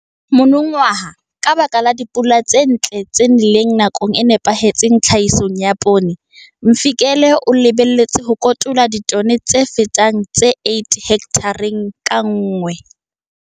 Monongwaha, ka baka la dipula tse ntle tse neleng nakong e nepahetseng tlhahisong ya poone, Mvikele o lebelletse ho kotula ditone tse fetang tse 8 hekthareng ka nngwe.